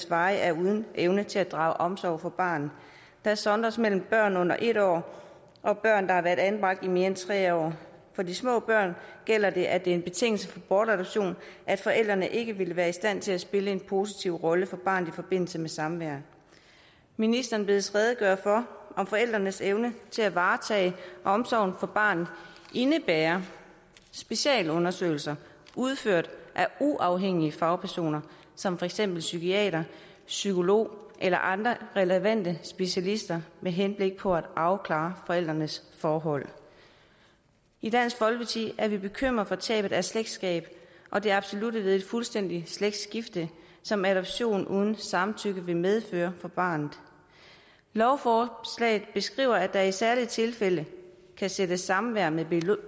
varigt er uden evne til at drage omsorg for barnet der sondres mellem børn under en år og børn der har været anbragt i mere end tre år for de små børn gælder det at det er en betingelse for bortadoption at forældrene ikke vil være i stand til at spille en positiv rolle for barnet i forbindelse med samvær ministeren bedes redegøre for om forældrenes evne til at varetage omsorgen for barnet indebærer specialundersøgelser udført af uafhængige fagpersoner som for eksempel psykiatere psykologer eller andre relevante specialister med henblik på at afklare forældrenes forhold i dansk folkeparti er vi bekymrede for tabet af slægtskab og det absolutte ved et fuldstændigt slægtsskifte som adoption uden samtykke vil medføre for barnet lovforslaget beskriver at der i særlige tilfælde kan sættes samvær med